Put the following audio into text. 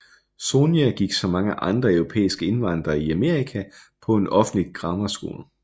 Sonya gik som mange andre europæiske indvandrere i Amerika på en offentlig grammar school